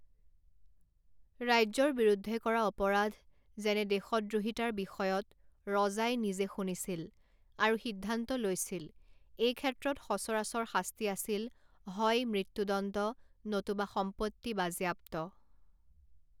ৰাজ্যৰ বিৰুদ্ধে কৰা অপৰাধ, যেনে দেশদ্ৰোহীতাৰ বিষয়ত, ৰজাই নিজে শুনিছিল আৰু সিদ্ধান্ত লৈছিল; এই ক্ষেত্ৰত সচৰাচৰ শাস্তি আছিল হয় মৃত্যুদণ্ড নতুবা সম্পত্তি বাজেয়াপ্ত।